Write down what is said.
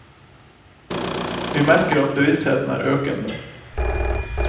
Vi merker at bevisstheten er økende.